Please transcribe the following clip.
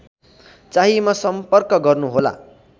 चाहिएमा सम्पर्क गर्नुहोला